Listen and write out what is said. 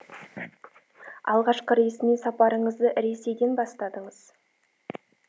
алғашқы ресми сапарыңызды ресейден бастадыңыз